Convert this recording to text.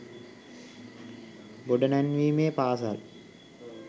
ගොඩනැංවීමේ පාසල්